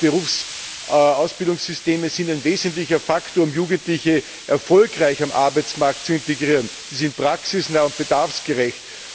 Duale Berufsausbildungssysteme sind ein wesentlicher Faktor, um Jugendliche erfolgreich in den Arbeitsmarkt zu integrieren, sie sind praxisnah und bedarfsgerecht.